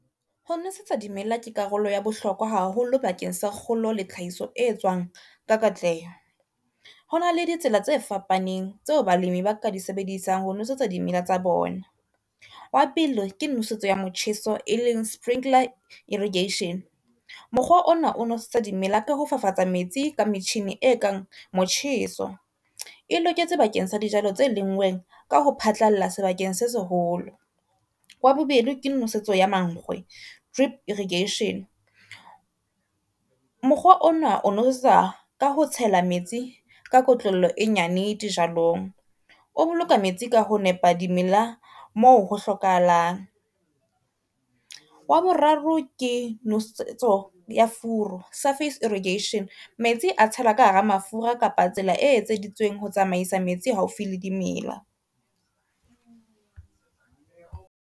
Ho nosetsa di mela ke karolo ya bohlokwa haholo bakeng sa kgolo le tlhahiso e etswang ka katleho. Hona le ditsela tse fapaneng tseo balimi ba ka di sebedisang ho nosetsa dimela tsa bona. Wa pele ke nosetso ya motjheso e leng sprinkler irrigation, mokgwa ona o nosetsa dimela ka ho fafatsa metsi ka metjhine e kang motjheso, e loketse bakeng sa dijalo tse lenngweng ka ho phatlalla sebakeng se seholo. Wa bobedi ke nosetso ya mankgwe drip irrigation, mokgwa ona o nosetsa ka ho tshela metsi ka kotlollo e nyane dijalong, o boloka metsi ka ho nepa dimela moo ho hlokahalang. Wa boraro ke nosetso ya furu surface irrigation, metsi a tshelwa ka hara mafura kapa tsela e etseditsweng ho tsamaisa metsi haufi le dimela.